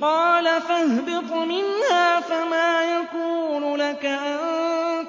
قَالَ فَاهْبِطْ مِنْهَا فَمَا يَكُونُ لَكَ أَن